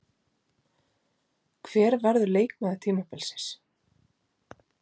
Hver verður leikmaður tímabilsins?